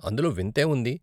అందులో వింత ఏముంది?